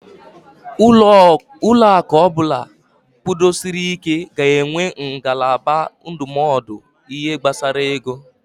Ụlọaku ọbụla kwudosiri ị́ké ga-enwe ngalaba ndụmọdụ ihe gbasara ego.